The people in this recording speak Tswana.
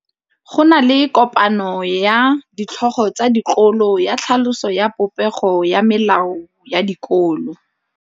Go na le kopanô ya ditlhogo tsa dikolo ya tlhaloso ya popêgô ya melao ya dikolo.